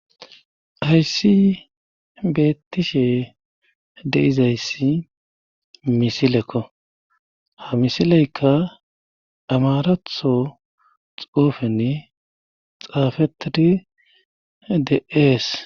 Hayssi bettishe deizayssi misilekko ha misileykka amaratho xuufenni xaafetidi de ees